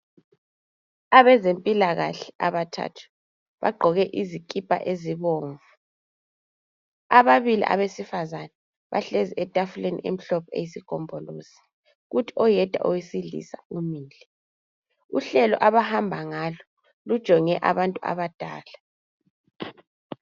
Abezempilakahle abathathu bagqoke izikipa ezibomvu. Ababili abesifazana bahlezi etafuleni emhlophe eyisigombolozi kuthi oyedwa owesilisa umile. Uhlelo abahamba ngalo lujonge abantu abadala.